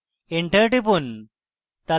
enter টিপুন